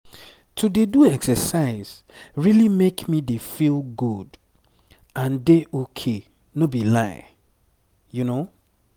to dey do exercise really make me dey feel good and dey ok no be lie.